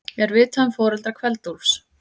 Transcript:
Er vitað um foreldra Kveld-Úlfs?